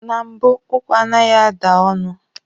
Na mbụ, ụkwa anaghị ada ọnụ.